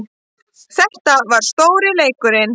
Þetta var stóri leikurinn